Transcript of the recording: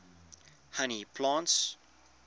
honey plants